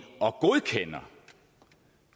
og godkender